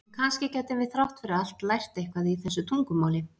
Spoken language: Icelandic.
En kannski gætum við þrátt fyrir allt lært eitthvað í þessu tungumáli?